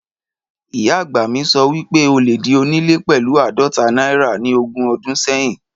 Ìyá àgbà mi sọ wípé o lè di onílé pẹ̀lú áàdóta náírà ni ogún odún sẹ́hìn